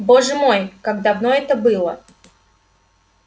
боже мой как давно это было